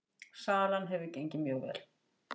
Salan hefur gengið mjög vel